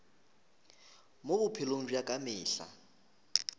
mo bophelong bja ka mehla